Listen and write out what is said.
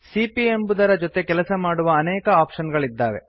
ಸಿಪಿಯ ಎಂಬುದರ ಜೊತೆ ಕೆಲಸ ಮಾಡುವ ಅನೇಕ ಆಪ್ಶನ್ ಗಳಿದ್ದಾವೆ